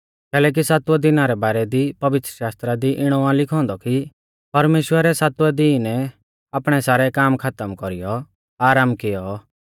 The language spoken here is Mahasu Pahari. कैलैकि सातवै दिना रै बारै दी पवित्रशास्त्रा दी इणौ आ लिखौ औन्दौ कि परमेश्‍वरै सातवै दिनै आपणै सारै काम खातम कौरीयौ आराम कियौ